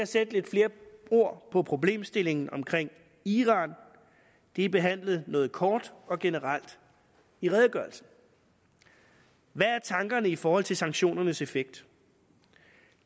sætte lidt flere ord på problemstillingen omkring iran det er behandlet noget kort og generelt i redegørelsen hvad er tankerne i forhold til sanktionernes effekt